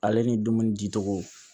Ale ni dumuni di cogo